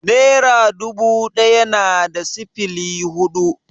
Nera dubu ɗaya na da sifili hudu?